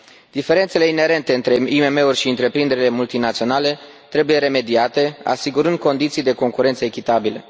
Diferențele inerente între IMM uri și întreprinderile multinaționale trebuie remediate asigurând condiții de concurență echitabile.